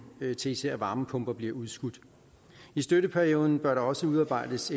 til især varmepumper bliver udskudt i støtteperioden bør der også udarbejdes